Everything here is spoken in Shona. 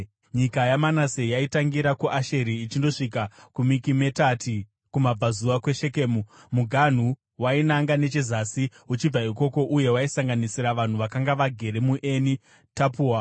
Nyika yaManase yaitangira kuAsheri ichindosvika kuMikimetati kumabvazuva kweShekemu. Muganhu wainanga nechezasi uchibva ikoko uye waisanganisira vanhu vakanga vagere muEni Tapua.